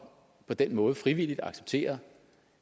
på den måde frivilligt accepterer